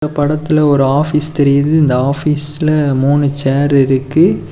படத்துல ஒரு ஆபீஸ் தெரிது அந்த ஆபீஸ்ல மூணு சேர் இருக்கு.